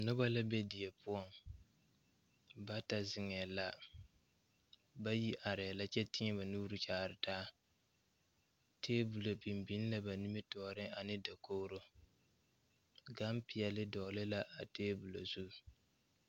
Nobɔ la be die poɔ bata zeŋɛɛ la bayi areɛɛ la kyɛ te daa taa tabolɔ biŋ biŋ la ba nimitooreŋ ane dakogro gan peɛɛle dɔgle la a tabol zu.